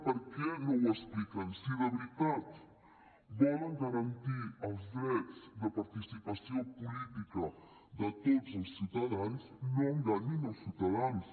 per què no ho expliquen si de veritat volen garantir els drets de participació política de tots els ciutadans no enganyin els ciutadans